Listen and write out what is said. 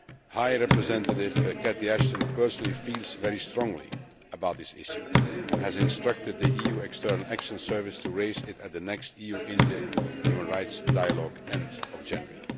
High Representative Catherine Ashton personally feels very strongly about this issue and has instructed the EU External Action Service to raise it at the next EU India human rights dialogue at the end of January.